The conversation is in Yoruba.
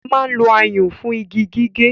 A máa ń lo ayùn fún igi gígé